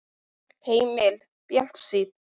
Heimir: Bjartsýn?